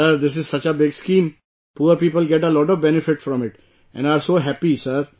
Sir, this is such a big scheme, poor people get a lot of benefit from it and are so happy sir